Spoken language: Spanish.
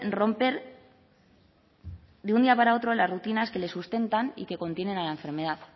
romper de un día para otro las rutinas que le sustentan y que contienen a la enfermedad